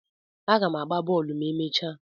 Aga m agba bọọlụ ma emechaa.